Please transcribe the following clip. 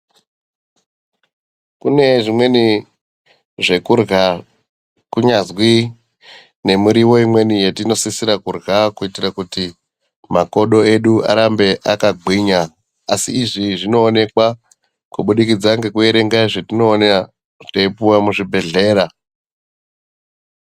Kune zvimweni zvekurya kunyazwi nemuriwo imweni yetinosisira kurya kuitira kuti makodo edu arambe akagwinya asi izvi zvinooneka kubudikidza nekuerenga nezvetinoona teipuwa muzvibhedhlera.